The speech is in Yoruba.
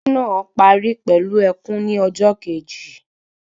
Eré náà parí pẹlú ẹkùn ni ọjọ Kejì